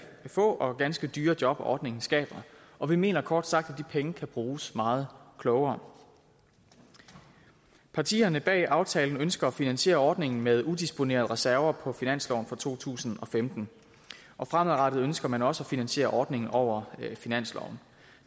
få og ganske dyre job ordningen skaber og vi mener kort sagt at de penge kan bruges meget klogere partierne bag aftalen ønsker at finansiere ordningen med udisponerede reserver på finansloven for to tusind og femten og fremadrettet ønsker man også at finansiere ordningen over finansloven